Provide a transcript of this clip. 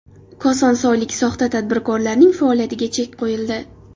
Kosonsoylik soxta tadbirkorning faoliyatiga chek qo‘yildi.